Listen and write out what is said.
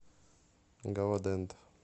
галадент